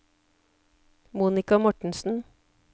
Monica Mortensen